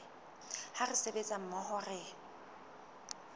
ha re sebetsa mmoho re